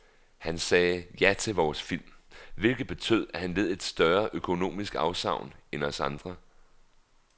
Han sagde ja til vores film, hvilket betød, at han led et større økonomisk afsavn end os andre.